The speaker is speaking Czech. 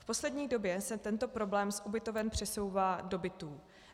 V poslední době se tento problém z ubytoven přesouvá do bytů.